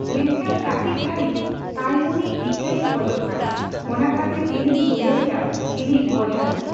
ᱢᱮᱱᱠᱷᱟᱱ ᱠᱟᱴᱤᱪ ᱜᱷᱟ ᱲᱤᱡ ᱛᱟᱭᱚᱢᱩᱱᱤ ᱤᱠᱟ ᱮ ᱠᱷᱚᱡᱚᱜ ᱠᱟᱱᱟ᱾ᱚᱱᱟ ᱠᱷᱟᱛᱤᱨ ᱤᱧᱤᱧ ᱫᱩᱞᱟᱹᱲ ᱮᱭᱟ ᱤᱧᱤᱜ ᱵᱚᱭᱦᱟ ᱱᱩ᱾